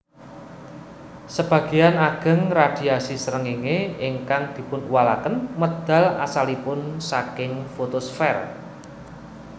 Sebagéyan ageng radhiasi srengéngé ingkang dipunuwalaken medal asalipun saking fotosfèr